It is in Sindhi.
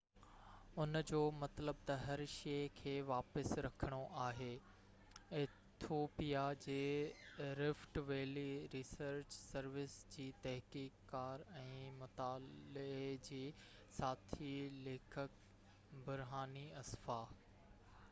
ان جو مطلب تہ هر شئي کي واپس رکڻو آهي ايٿوپيا جي رفٽ ويلي ريسرچ سروس جي تحقيق ڪار ۽ مطالعي جي ساٿي ليکڪ برهاني اسفا